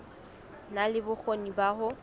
na le bokgoni ba ho